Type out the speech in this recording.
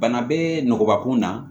Bana be nɔgɔ kun na